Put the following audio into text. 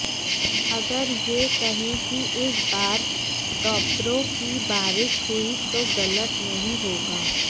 अगर यह कहें कि इस बार टॉपरों की बारिश हुई तो गलत नहीं होगा